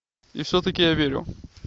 и все таки я верю